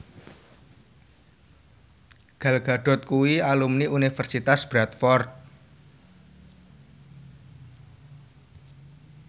Gal Gadot kuwi alumni Universitas Bradford